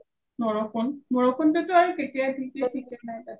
বৰষুণ, বৰষুণটো আৰু কেতিয়া দিয়ে থিকেই নাই তাত.